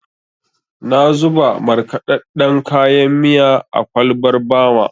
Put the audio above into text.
Na zuba markaɗaɗɗen kayan miya a kwalbar Bama.